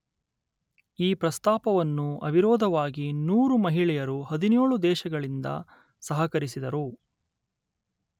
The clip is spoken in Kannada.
ಈ ಪ್ರಸ್ತಾಪವನ್ನು ಅವಿರೋಧವಾಗಿ ನೂರು ಮಹಿಳೆಯರು ಹದಿನೇಳು ದೇಶಗಳಿಂದ ಸಹಕರಿಸಿದರು